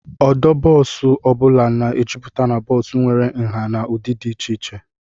Ọdụ bọọsụ ọ bụla na-ejuputa na bọọsụ nwere nha na ụdị dị iche iche.